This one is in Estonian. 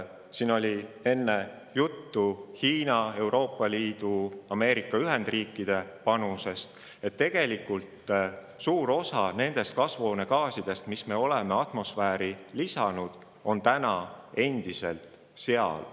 Siin oli enne juttu Hiina, Euroopa Liidu ja Ameerika Ühendriikide panusest – tegelikult on täna suur osa nendest kasvuhoonegaasidest, mis me oleme atmosfääri heitnud, endiselt seal.